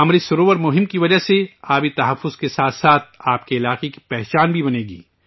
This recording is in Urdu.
امرت سروور مہم کی وجہ سے پانی کے تحفظ کے ساتھ ساتھ آپ کے علاقے کی پہچان بھی بنے گی